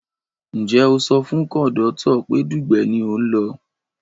Ǹjẹ́ o sọ fún kọ̀ndọ́tọ̀ pé Dugbe ni ò ń lọ?